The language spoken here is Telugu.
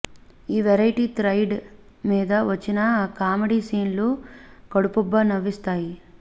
ఈ వెరైటి థ్రెడ్ మీద వచ్చిన కామెడీ సీన్లు కడుపుబ్బా నవ్విస్తాయి